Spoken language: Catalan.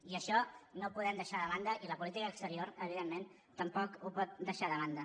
i això no ho podem deixar de banda i la política exterior evidentment tampoc no ho pot deixar de banda